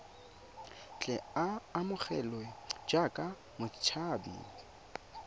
tle a amogelwe jaaka motshabi